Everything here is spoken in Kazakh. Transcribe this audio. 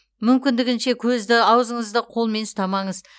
мүмкіндігінше көзді аузыңызды қолмен ұстамаңыз